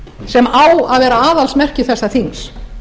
sem á að vera aðalsmerki þessa þings